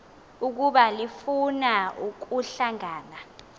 ukuba lifuna ukuhlangana